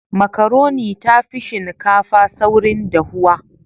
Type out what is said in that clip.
Makaroni ta fi shinkafa saurin dahuwa.